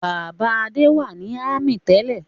Bàbá Adé wà ní ámì tẹ́lẹ̀.